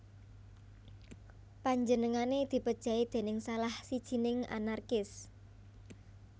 Panjenengané dipejahi déning salah sijining anarkis